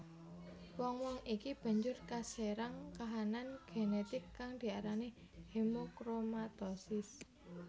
Wong wong iki banjur kaserang kahanan genetik kang diarani hemochromatosis